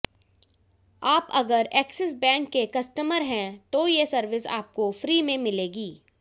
आप अगर Axis Bank के कस्टमर हैं तो ये सर्विस आपको फ्री में मिलेगी